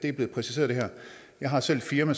er blevet præciseret jeg har selv et firma